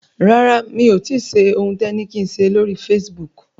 Rárá mi ò tíì ṣe ohun tẹ ni kí n ṣe lóri Facebook.